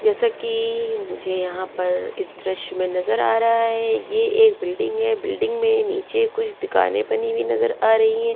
जैसा कि मुझे यहां पर इस दृश्य में नजर आ रहा है ये एक बिल्डिंग है बिल्डिंग में नीचे कुछ दिखाने बनी हुई नजर आ रही है।